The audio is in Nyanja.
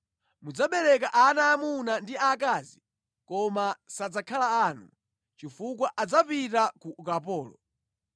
Mudzabereka ana aamuna ndi aakazi koma sadzakhala anu, chifukwa adzapita ku ukapolo.